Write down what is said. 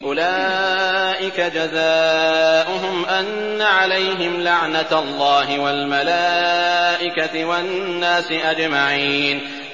أُولَٰئِكَ جَزَاؤُهُمْ أَنَّ عَلَيْهِمْ لَعْنَةَ اللَّهِ وَالْمَلَائِكَةِ وَالنَّاسِ أَجْمَعِينَ